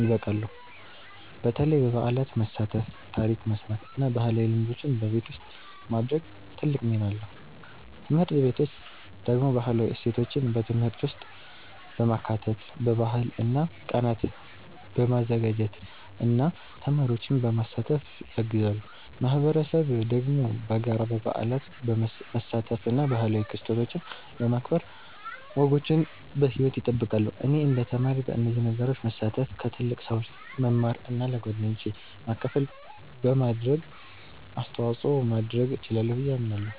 ይበቃሉ፣ በተለይ በበዓላት መሳተፍ፣ ታሪክ መስማት እና ባህላዊ ልምዶችን በቤት ውስጥ ማድረግ ትልቅ ሚና አለው። ትምህርት ቤቶች ደግሞ ባህላዊ እሴቶችን በትምህርት ውስጥ በማካተት፣ በባህል ቀናት በማዘጋጀት እና ተማሪዎችን በማሳተፍ ያግዛሉ። ማህበረሰብ ደግሞ በጋራ በበዓላት መሳተፍ እና ባህላዊ ክስተቶችን በማክበር ወጎችን በሕይወት ይጠብቃል። እኔ እንደ ተማሪ በእነዚህ ነገሮች መሳተፍ፣ ከትልቅ ሰዎች መማር እና ለጓደኞቼ ማካፈል በማድረግ አስተዋጽኦ ማድረግ እችላለሁ ብዬ አምናለሁ።